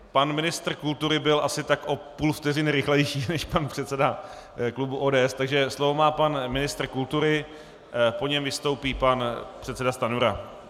Pan ministr kultury byl asi tak o půl vteřiny rychlejší než pan předseda klubu ODS, takže slovo má pan ministr kultury, po něm vystoupí pan předseda Stanjura.